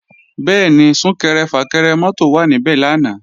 Bẹ́ẹ̀ni, Sún-kẹrẹ-fà-kẹrẹ mọ́tò wà níbẹ̀ lánàá